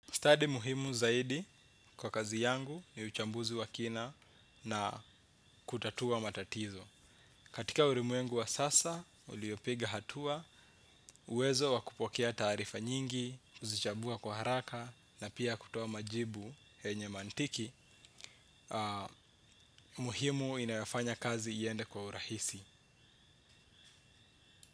Study muhimu zaidi kwa kazi yangu ni uchambuzi wa kina na kutatua matatizo. Katika ulimwengu wa sasa, uliopiga hatua, uwezo wa kupokea taarifa nyingi, kuzichambua kwa haraka na pia kutoa majibu yenye mantiki, muhimu inayafanya kazi iende kwa urahisi.